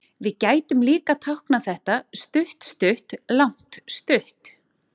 Við gætum líka táknað þetta stutt-stutt-langt-stutt.